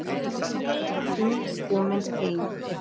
Hún er komin heim.